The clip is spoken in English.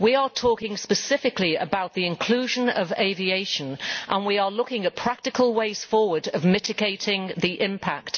We are talking specifically about the inclusion of aviation and we are looking at practical ways forward for mitigating the impact.